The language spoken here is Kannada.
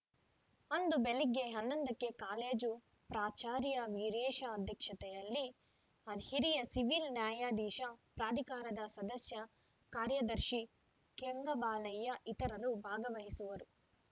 ಅಂದು ಬೆಳಿಗ್ಗೆ ಹನ್ನೊಂದಕ್ಕೆ ಕಾಲೇಜು ಪ್ರಾಚಾರ್ಯ ವೀರೇಶ ಅಧ್ಯಕ್ಷತೆಯಲ್ಲಿ ಹಿರಿಯ ಸಿವಿಲ್‌ ನ್ಯಾಯಾಧೀಶ ಪ್ರಾಧಿಕಾರದ ಸದಸ್ಯ ಕಾರ್ಯದರ್ಶಿ ಕೆಂಗಬಾಲಯ್ಯ ಇತರರು ಭಾಗವಹಿಸುವರು